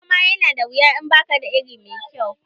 Noma ya na da wuya in bakada iri mai kyau